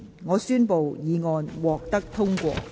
我宣布議案獲得通過。